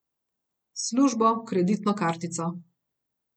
Službo, kreditno kartico ...